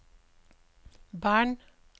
Bern